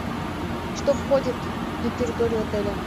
что входит на территорию отеля